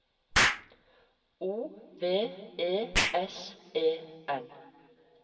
O V E S E N